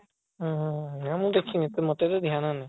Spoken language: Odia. ହୁଁ ହୁଁ ହୁଁ ରହ ମୁଁ ଦେଖିବି ତୁ ଧ୍ୟାନ ନାହିଁ